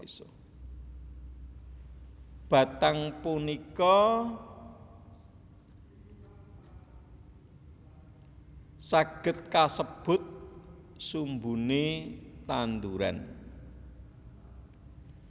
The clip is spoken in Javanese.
Batang punika saged kasebut sumbune tanduran